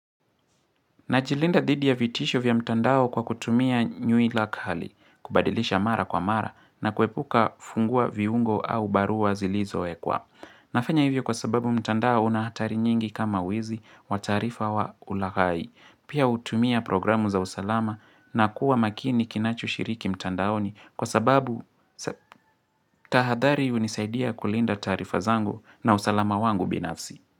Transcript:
Najilinda dhidi ya vitisho vya mtandao kwa kutumia nywila kali, kubadilisha mara kwa mara na kuepuka kufungua viungo au barua zilizowekwa. Nafanya hivyo kwa sababu mtandao una hatari nyingi kama wizi wa taarifa wa ulaghai. Pia hutumia programu za usalama na kuwa makini kinachoshiriki mtandaoni kwa sababu tahadhari hunisaidia kulinda taarifa zangu na usalama wangu binafsi.